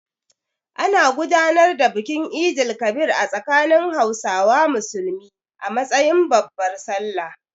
An gudanar da bikin Eid el-Kabir a tsakanin Hausawa Musulmi a matsayin babbar Sallah.